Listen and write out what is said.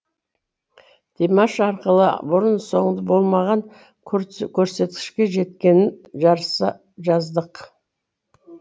димаш арқылы бұрын соңды болмаған көрсеткішке жеткенін жарыса жаздық